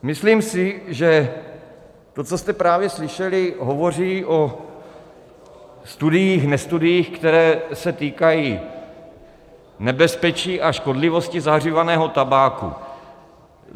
Myslím si, že to, co jste právě slyšeli, hovoří o studiích nestudiích, které se týkají nebezpečí a škodlivosti zahřívaného tabáku.